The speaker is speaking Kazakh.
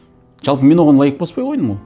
жалпы мен оған лайк баспай қойдым ғой